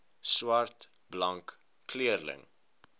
swart blank kleurling